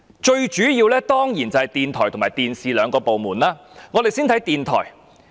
最主要的當然是電台及電視兩個部門，我們先看看電台部分。